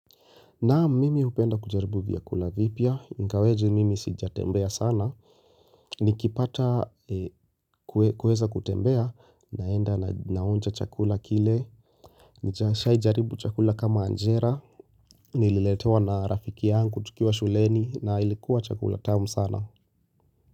Naam mimi hupenda kujaribu vyakula vipya, ingawaje mimi sijatembea sana, nikipata kuweza kutembea, naenda naonja chakula kile, nishai jaribu chakula kama anjera, nililetewa na rafiki yangu, tukiwa shuleni, na ilikuwa chakula tamu sana.